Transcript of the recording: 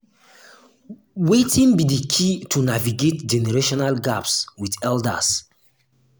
wetin be di key to navigate generational gaps with elders?